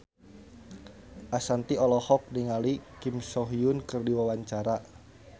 Ashanti olohok ningali Kim So Hyun keur diwawancara